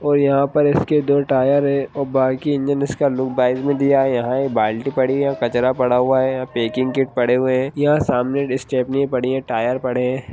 और यहाँ पे इसके दो टायर हैं और बाइक का इंजन इसका लुक बाइज़ में दिया है यहाँ एक बाल्टी पड़ी है और कचरा पड़ा हुआ है यहाँ पे पैकिंग किट पड़े हुए हैं। यहाँ सामने स्टेपनी पड़ी है टायर पड़े हैं।